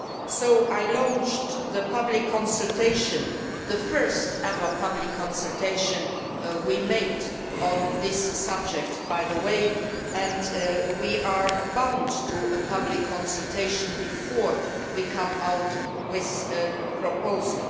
So I launched the public consultation the first ever public consultation by us on this subject, by the way and we are obliged to have a public consultation before we come out with a proposal.